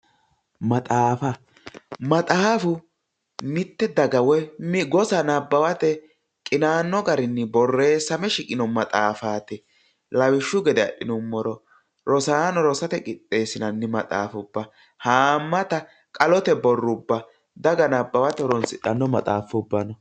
Maxaafa maxaafu mitte daga woy gosa nabbawate qinaanno garinni borreessame shiqino maxaafati lawishshu gede adhinummoro rosaano rosate qixxeessinanni maxaafubba haammate qalote borrubba daga nabbawate horoonsidhanno maxaafubba no